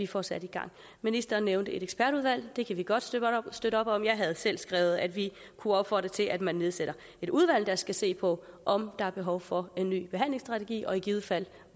få sat i gang ministeren nævnte et ekspertudvalg det kan vi godt støtte op om jeg har selv skrevet at vi kunne opfordre til at man nedsætter et udvalg der skal se på om der er behov for en ny behandlingsstrategi og i givet fald